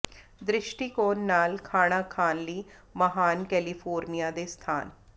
ਦ੍ਰਿਸ਼ਟੀਕੋਣ ਨਾਲ ਖਾਣਾ ਖਾਣ ਲਈ ਮਹਾਨ ਕੈਲੀਫੋਰਨੀਆ ਦੇ ਸਥਾਨ